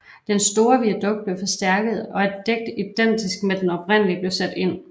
Den store viadukt blev forstærket og et dæk identisk til den oprindelige blev sat ind